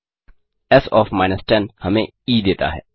S OF 10 हमें E देता है